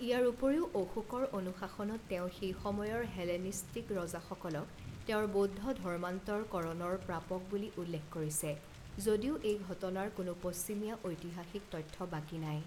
ইয়াৰ উপৰিও, অশোকৰ অনুশাসনত তেওঁ সেই সময়ৰ হেলেনিষ্টিক ৰজাসকলক তেওঁৰ বৌদ্ধ ধৰ্মান্তৰকৰণৰ প্ৰাপক বুলি উল্লেখ কৰিছে, যদিও এই ঘটনাৰ কোনো পশ্চিমীয়া ঐতিহাসিক তথ্য বাকী নাই।